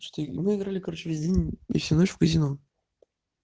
что и выиграли короче весь день и всю ночь в казино